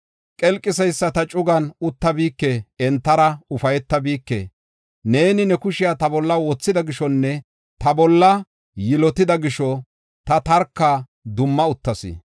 Qelqiseyisata cugan uttabike; entara ufaytabike. Neeni ne kushiya ta bolla wothida gishonne ta bolla yilotida gisho ta tarka dumma uttas.